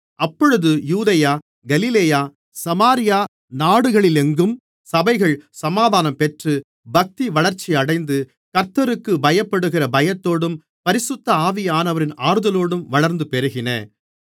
அப்பொழுது யூதேயா கலிலேயா சமாரியா நாடுகளிலெங்கும் சபைகள் சமாதானம் பெற்று பக்திவளர்ச்சியடைந்து கர்த்தருக்குப் பயப்படுகிற பயத்தோடும் பரிசுத்த ஆவியானவரின் ஆறுதலோடும் வளர்ந்து பெருகின